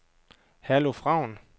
Herluf Raun